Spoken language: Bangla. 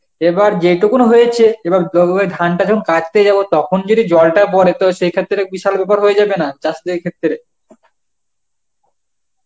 এবার যেইটুকুনো হয়েছে এবার ধানটা যখন কাটতে যাব তখন যদি জলটা পরে তো সেই ক্ষেত্রে বিশাল ব্যাপার হয়ে যাবে না চাষীদের ক্ষেত্রে?